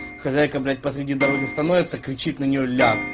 хозяйка блять посреди дороги становится кричит на нее ляг